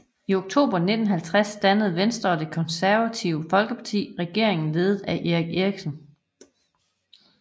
I oktober 1950 dannede Venstre og Det Konservative Folkeparti regering ledet af Erik Eriksen